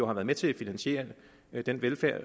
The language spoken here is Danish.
har været med til at finansiere den velfærd